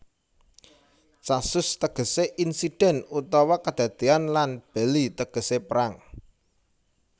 Casus tegesé insiden utawa kadadéyan lan belli tegesé perang